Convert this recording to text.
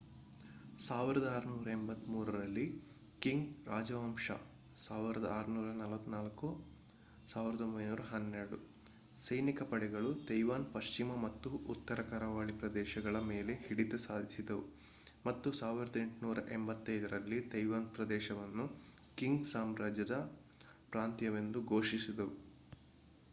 1683 ರಲ್ಲಿ ಕಿಂಗ್ ರಾಜವಂಶಜ 1644-1912 ಸೈನಿಕ ಪಡೆಗಳು ತೈವಾನ್‌ನ ಪಶ್ಚಿಮ ಮತ್ತು ಉತ್ತರ ಕರಾವಳಿ ಪ್ರದೇಶಗಳ ಮೇಲೆ ಹಿಡಿತ ಸಾಧಿಸಿದವು ಮತ್ತು 1885 ರಲ್ಲಿ ತೈವಾನ್ ಪ್ರದೇಶವನ್ನು ಕಿಂಗ್ ಸಾಮ್ರಾಜ್ಯದ ಪ್ರಾಂತ್ಯವೆಂದು ಘೋಷಿಸಿದವು